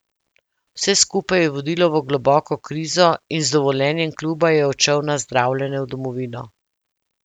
Vse skupaj je vodilo v globoko krizo in z dovoljenjem kluba je odšel na zdravljenje v domovino.